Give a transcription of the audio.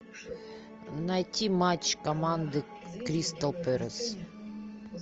найти матч команды кристал пэлас